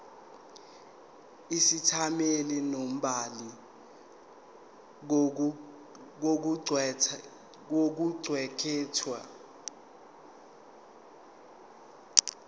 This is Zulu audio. isethameli nombhali kokuqukethwe